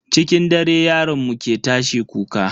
Cikin dare yaron mu ke tashi kuka.